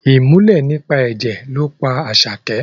Ìmùlẹ̀ nípa ẹ̀jẹ̀ ló pa Àṣàkẹ́